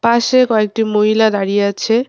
পাশে কয়েকটি মহিলা দাঁড়িয়ে আছে।